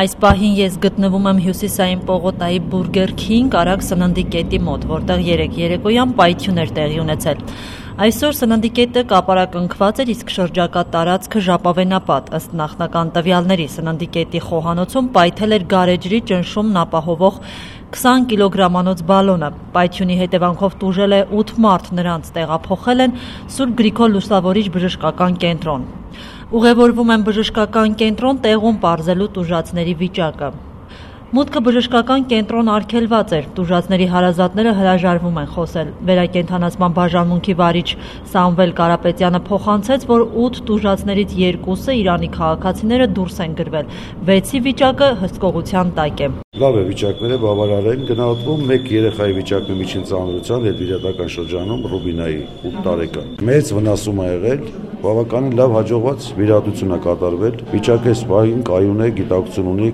Այս պահին ես գտնվում եմ Հյուսիսային պողոտայի «Բուրգեր քինգ» արագ սննդի կետի մոտ, որտեղ երեկ երեկոյան պայթյուն էր տեղի ունեցել: Այսօր սննդի կետը կապարակնքված էր, իսկ շրջակա տարածքը՝ ժապավենապատ: Ըստ նախնական տվյալների՝ սննդի կետի խոհանոցում պայթել էր գարեջրի ճնշումն ապահովող 20 կգ-անոց բալոնը: Պայթյունի հետեւանքով տուժել է 8 մարդ։ Նրանց տեղափոխել են «Սուրբ Գրիգոր Լուսավորիչ» բժշկական կենտրոն: Ուղևորվում եմ բժշկական կենտրոն՝ տեղում պարզելու տուժածների վիճակը: Մուտքը բժշկական կենտրոն արգելված էր, տուժածների հարազատները հրաժարվում են խոսել։ Վերակենդանացման բաժանմունքի վարիչ Սամվել Կարապետյանը փոխանցեց, որ 8 տուժածներից երկուսը՝ Իրանի քաղաքացիները, դուրս են գրվել, 6-ի վիճակը հսկողության տակ է: «Լավ է վիճակները, բավարար են: Մեկ 8 տարեկան երեխայի՝ Ռուբինայի վիճակն է միջին ծանրության: Հետվիրահատական շրջանում է: Մեծ վնասում է եղել, բավականին հաջողված վիրահատություն է կատարվել: Վիճակն այս պահին կայուն է, գիտակցություն ունի,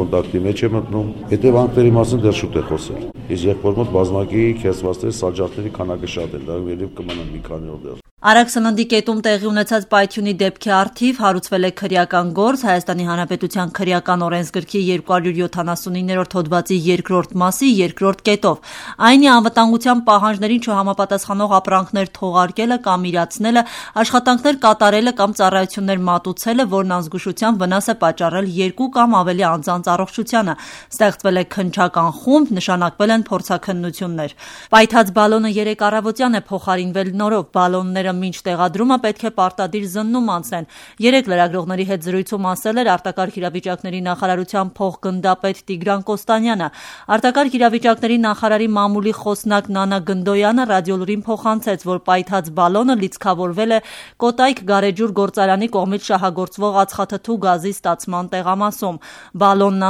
կոնտակտի մեջ է մտնում: Հետևանքների մասին դեռ շուտ է խոսել: Իսկ եղբոր մոտ բազմակի քերծվածքների, սալջարդերի քանակն էր մեծ: Նա մի քանի օր կմնա մեզ մոտ»: Արագ սննդի կետում տեղի ունեցած պայթյունի դեպքի առթիվ հարուցվել է քրեական գործ՝ ՀՀ քրեական օրենսգրքի 279-րդ հոդվածի 2-րդ մասի 2-րդ կետով, այն է՝ անվտանգության պահանջներին չհամապատասխանող ապրանքներ թողարկելը կամ իրացնելը, աշխատանքներ կատարելը կամ ծառայություններ մատուցելը, որն անզգուշությամբ վնաս է պատճառել երկու կամ ավելի անձանց առողջությանը։ Ստեղծվել է քննչական խումբ, նշանակվել են փորձաքննություններ։ Պայթած բալոնը երեկ առավոտյան է փոխարինվել նորով: Բալոնները մինչ տեղադրումը պետք է պարտադիր զննում անցնեն, երեկ լրագրողների հետ զրույցում ասել էր ԱԻՆ փոխգնդապետ Տիգրան Կոստանյանը: Արտակարգ իրավիճակների նախարարի մամուլի քարտուղար Նանա Գնդոյանը «Ռադիոլուրին» փոխանցեց, որ պայթած բալոնը լիցքավորվել է «Կոտայք» գարեջուր գործարանի կողմից շահագործվող ածխաթթու գազի ստացման տեղամասում: Բալոնն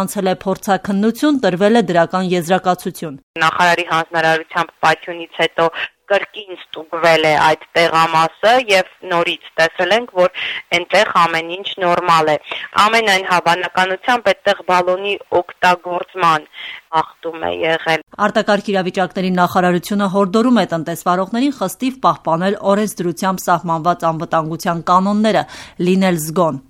անցել է փորձաքննություն, տրվել դրական եզրակացություն: «Նախարարի հանձնարարությամբ պայթյունից հետո կրկին ստուգվել է այդ տեղամասը, նորից տեսել ենք, որ այնտեղ ամեն ինչ նորմալ է: Ամենայն հավանականությամբ այնտեղ բալոնի օգտագործման կանոնների խախտում է եղել»: Արտակարգ իրավիճակների նախարարությունը հորդորում է տնտեսավարողներին խստիվ պահպանել օրենսդրությամբ սահմանված անվտանգության կանոնները, լինել զգոն։